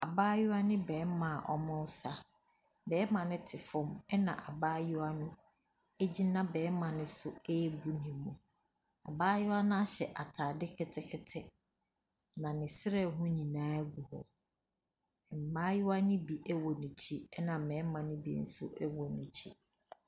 Abaayewa ne barima a wɔresa, barima no te fam na abaayewa no gyina barima ne so ɛrebu ne mu. Abaayewa no ahyɛ ataade ketekete, na ne serɛ ho nyinaa gu hɔ. Mmaayewa ne bi wɔ n’akyi na mmarima ne bi nso wɔ n’akyi.